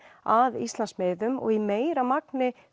að Íslandsmiðum og í meira magni